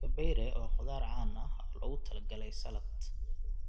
Kabayre waa khudaar caan ah oo loogu talagalay salad.